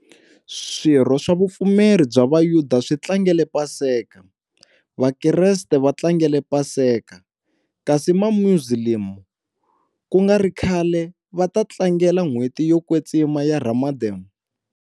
Swirho swa vupfumeri bya Vayuda swi tlangele Paseka, Vakriste va tlangele Paseka, kasi ma Muzilamu ku nga ri khale va ta tlangela n'hweti yo kwetsima ya Ramadan.